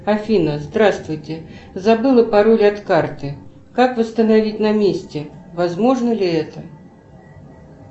афина здравствуйте забыла пароль от карты как восстановить на месте возможно ли это